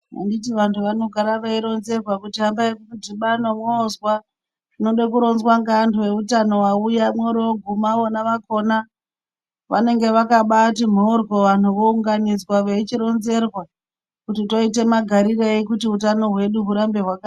Anditi vantu vanoramba veironzera kuti vodgubana vozwa zvinoda kurongwa neantu vehutano vauya voguma vana vakona vanenge vakabati mboryo vounganidzwa veichizoronzerwa kuti toita magarirei hutano hwedu hurambe.